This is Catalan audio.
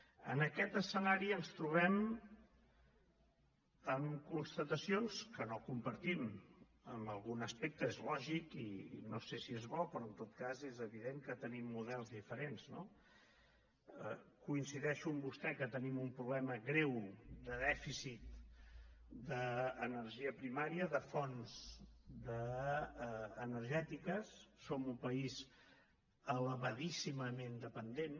en aquest escenari ens trobem amb constatacions que no compartim en algun aspecte és lògic i no sé si és bo però en tot cas és evident que tenim models diferents no coincideixo amb vostè que tenim un problema greu de dèficit d’energia primària de fonts energètiques som un país elevadíssimament dependent